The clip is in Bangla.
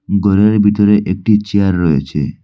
ঘরের ভিতরে একটি চেয়ার রয়েছে।